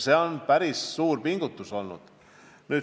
See on päris suur pingutus olnud.